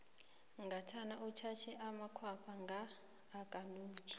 ngathana utjhatjhe amakhwapha nga akanuki